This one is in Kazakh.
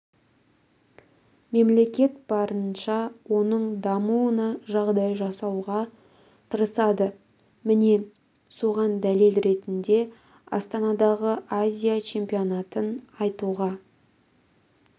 мемлекет барынша оның дамуына жағдай жасауға тырысады міне соған дәлел ретінде астанадағы азия чемпионатын айтуға